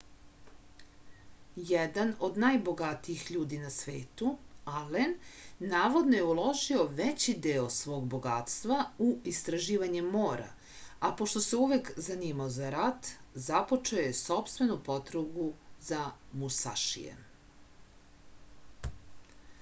jedan od najbogatijih ljudi na svetu alen navodno je uložio veći deo svog bogatstva u istraživanje mora a pošto se oduvek zanimao za rat započeo je sopstvenu potragu za musašijem